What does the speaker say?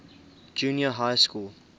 junior high school